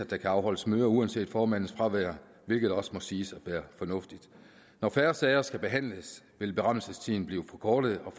der kan afholdes møder uanset formandens fravær hvilket også må siges at være fornuftigt når færre sager skal behandles vil berammelsestiden blive forkortet